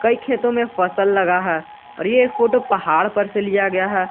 एक खेतों में फसल लगा है और यह एक फोटो पहाड़ पर से लिया गया है।